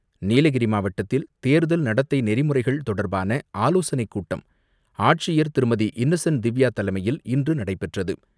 நீலகிரி மாவட்டத்தில் தேர்தல் நடத்தை நெறிமுறைகள் தொடர்பான ஆலோசனைக் கூட்டம் ஆட்சியர் திருமதி இன்னசென்ட் திவ்யாதலைமையில் இன்று நடைபெற்றது.